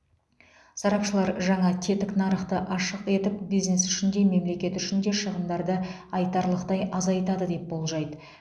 сарапшылар жаңа тетік нарықты ашық етіп бизнес үшін де мемлекет үшін де шығындарды айтарлықтай азайтады деп болжайды